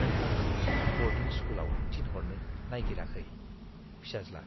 नों आंखौ ब'र्डिं स्कुलाव थिनहरनो नायगिराखै? (फिसाज्ला)